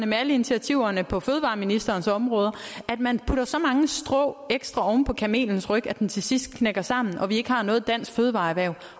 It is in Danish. med alle initiativerne på fødevareministerens områder man putter så mange strå ekstra oven på kamelens ryg at den til sidst knækker sammen så vi ikke har noget dansk fødevareerhverv